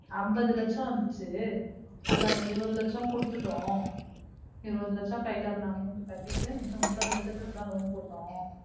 ஐம்பது லட்சம் வந்துச்சு அதுல நம்ம இருபது லட்சம் கொடுத்துட்டோம். இருபது லட்சம் கைல இருந்த amount அ கட்டிட்டு மிச்சம் முப்பது லட்சத்துக்கு தா loan போட்டோம்.